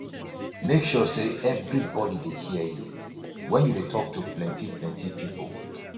make sure sey everybody dey hear you wen you dey tok to plenty plenty pipo